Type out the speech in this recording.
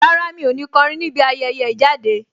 Rárá, mi ò ní kọrin níbi ayẹyẹ ìjáde.